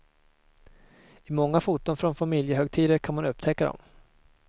I många foton från familjehögtider kan man upptäcka dem.